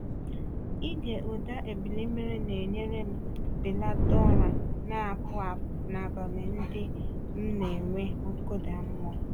Ịge ụda ebili mmiri na-enyere m belata ụra na-apụ apụ n’abalị ndị m na-enwe nkụda mmụọ.